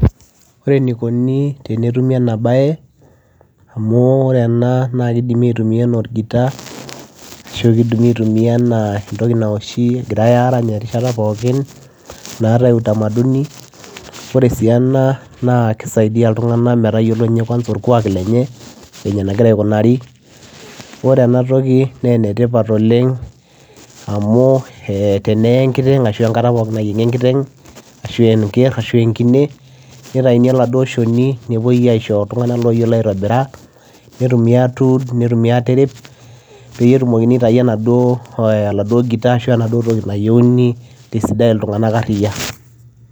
Ore inikonii tenetumii enaa bayee amuu oree enaa naa kidimi aaitumia enaa orgitaa ashuu kidimi aaitumia enaa entokii nawaoshii igirae aaranch erishtaa pookin ñaatae utamaduni oree si ena naa kisaidiaa ilntunganak metayiolo utamaduni metayiolo orkuak lenye enegiraa aaikunarii oree enaa naa enetipat oleng amu oree enkataa nayiengii enkiteng enkerr enkine nitayuni olchonii nishorii ilntunganak looyioloo aaitobira nitumii aatirip peyiee etumokini aaitayu orgitaa